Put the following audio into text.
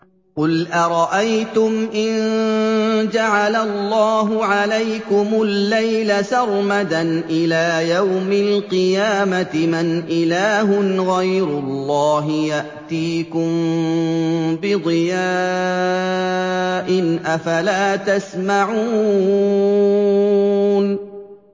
قُلْ أَرَأَيْتُمْ إِن جَعَلَ اللَّهُ عَلَيْكُمُ اللَّيْلَ سَرْمَدًا إِلَىٰ يَوْمِ الْقِيَامَةِ مَنْ إِلَٰهٌ غَيْرُ اللَّهِ يَأْتِيكُم بِضِيَاءٍ ۖ أَفَلَا تَسْمَعُونَ